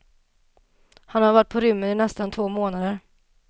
Han har varit på rymmen i nästan två månader.